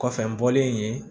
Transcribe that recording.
Kɔfɛ n bɔlen yen